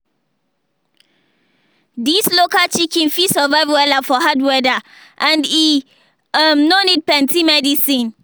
dis local chicken breed fit survive wella for hard weather and e um no need plenty medicine.